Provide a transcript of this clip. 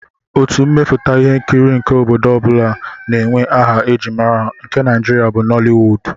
Otu mmepụta ihe nkiri nke obodo ọ bụla na-enwe aha e ji mara ha, nke Nigeria bụ Nollywood